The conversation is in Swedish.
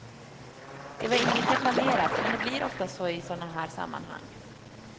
Det var inget jag planerat, men det blir ofta så i sådana här sammanhang.